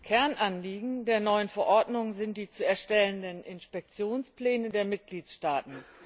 Kernanliegen der neuen Verordnung sind die zu erstellenden Inspektionspläne der Mitgliedstaaten.